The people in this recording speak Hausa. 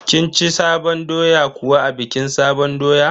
Kin ci sabon doya kuwa a bikin sabon doya?